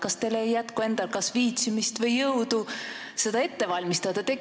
Kas teil ei jätku endal viitsimist või jõudu seda ette valmistada?